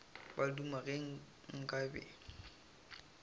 ba duma ge nka be